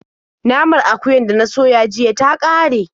Naman akuyar da na soya jiya ta ƙare.